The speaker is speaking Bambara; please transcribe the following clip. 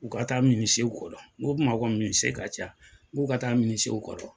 U ka taa minisiew kɔrɔ, n ko Bamako minisie ka ca, n k'u ka taa minisiew kɔrɔ.